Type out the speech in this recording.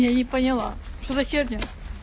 я не поняла что за херня